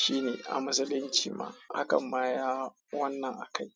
shine a musulunci ma hakan ma ya wannan akai.